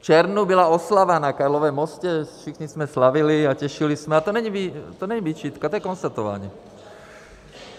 V červnu byla oslava na Karlově mostě, všichni jsme slavili a těšili se - a to není výčitka, to je konstatování.